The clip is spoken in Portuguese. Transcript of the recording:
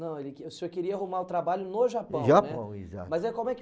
Não, ele, o senhor queria arrumar trabalho no Japão, né? No Japão, exato. Mas aí como é que